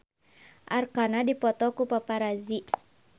Arkarna dipoto ku paparazi